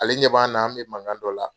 Ale ɲɛ b'an na an be mankan dɔ la.